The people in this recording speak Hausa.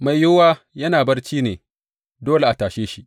Mai yiwuwa yana barci ne, dole a tashe shi.